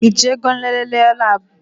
Ị je go nlele labu?